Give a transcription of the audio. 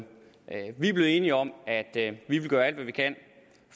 vi er blevet enige om at vi vil gøre alt hvad vi kan